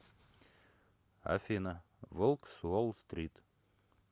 афина волк с уол стрит